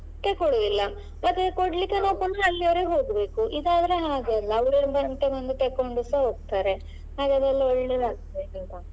ತೆಕೊಳುದಿಲ್ಲ ಮತ್ತೆ ಕೊಡ್ಲಿಕ್ಕೆ ನಾವ್ ಪುನಃ ಅಲ್ಲಿವರೆಗೆ ಹೋಗ್ಬೇಕು ಇದಾದ್ರೆ ಹಾಗಲ್ಲ ಅವ್ರೇ ಬಂದು ತೆಕೊಂಡುಸ ಹೋಗ್ತಾರೆ ಹಾಗಾಗಿ ಎಲ್ಲ ಒಳ್ಳೇದ್ ಆಗ್ತದೆ .